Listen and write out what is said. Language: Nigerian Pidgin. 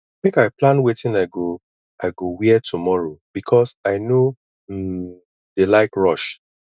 make i plan wetin i go i go wear tomorrow because i no um dey like rush